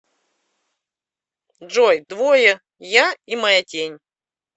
джой двое я и моя тень